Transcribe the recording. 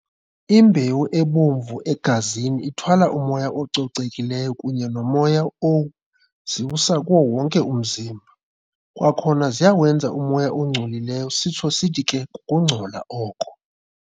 Imbewu ebomvu egazini ithwala umoya ococekileyo kunye nomoya oziwusa kuwo wonke umzimba. Kwakhona ziyawenza umoya ongcolileyo sitsho sithi ke kukungcola oko.